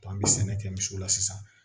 an bɛ sɛnɛ kɛ misiw la sisan